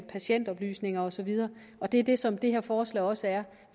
patientoplysninger og så videre det er det som det her forslag også er